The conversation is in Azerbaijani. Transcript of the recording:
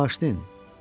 Məni bağışlayın.